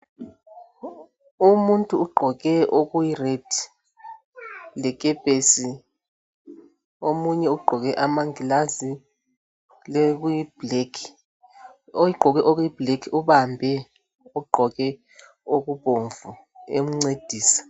Umuntu ugqoke okuyiredi lekepesi. Omunye ugqoke amangilazi lokuyiblekhi. Ogqoke okuyibhlekhi ubambe ogqoke okubomvu emncedisa.